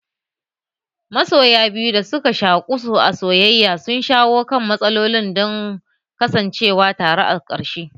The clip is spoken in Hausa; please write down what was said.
Masoya biyu da suka shaku a soyaya sun shawo kan matsalolin don kasancewa tare a ƙarshe.